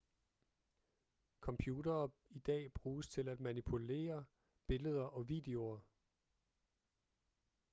computere i dag bruges til at manipulere billeder og videoer